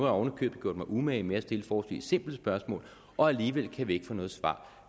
oven i købet gjort mig umage med at stille forholdsvis simple spørgsmål og alligevel kan vi ikke få noget svar